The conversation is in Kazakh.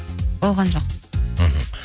болған жоқ мхм